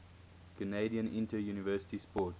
canadian interuniversity sport